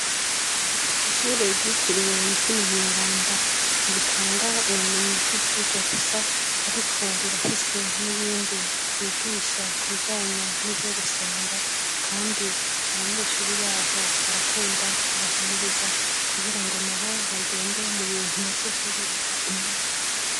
Ishure igitiriwe umutima mweranda ntiritanga ubumenyi bw'ivyirwa gusa, ariko rirafise n'ibindi vyigisha kubijanye n'ivyo gusenga, kandi abanyeshuri baho barakunda kubahimiriza kugira ngo na bo bagende mu bintu vyo kwihebera imana.